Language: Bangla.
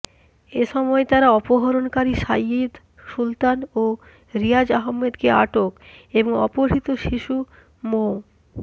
এ সময় তারা অপহরণকারী সাঈদ সুলতান ও রিয়াজ আহম্মেদকে আটক এবং অপহৃত শিশু মো